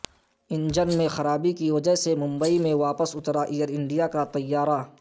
engine میں خرابی کی وجہ سے ممبئی میں واپس اترا ایئر انڈیا کا طیارہ